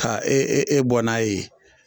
Ka e e e bɔ n'a ye.